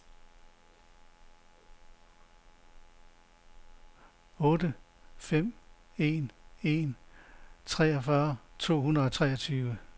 otte fem en en treogfyrre to hundrede og treogtyve